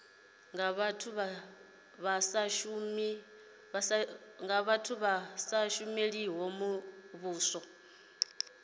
vhathu vha sa shumeli muvhuso